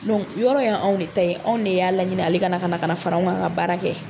yɔrɔ y'anw de ta ye , anw de y'a laɲini ale ka na ka fara kan ka baara kɛ.